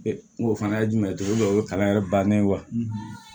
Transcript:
N ko o fana ye jumɛn ye togo dɔ o ye kalan yɛrɛ bannen ye wa